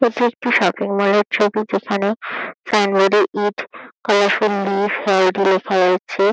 এটি একটি shopping mall -এর ছবি যেখানে সাইন বোর্ড -এ ইট পাওয়ারফুল লেখা রয়েছে।